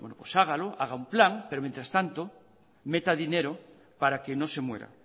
pues hágalo haga un plan pero mientras tanto meta dinero para que no se muera